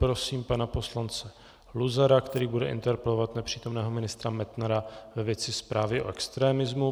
Prosím pana poslance Luzara, který bude interpelovat nepřítomného ministra Metnara ve věci zprávy o extremismu.